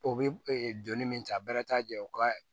O bɛ donni min ta bɛ taa jɛ u ka